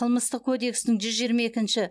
қылмыстық кодекстің жүз жиырма екінші